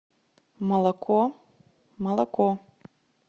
молоко молоко